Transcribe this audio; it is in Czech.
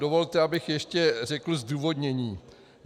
Dovolte, abych ještě řekl zdůvodnění.